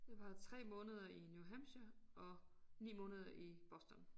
Jeg var 3 måneder i New Hampshire og 9 måneder i Boston